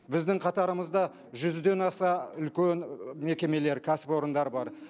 біздің қатарымызда жүзден аса үлкен мекемелер кәсіпорындар бар